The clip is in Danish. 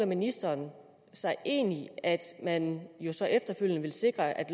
ministeren sig egentlig at man så efterfølgende vil sikre at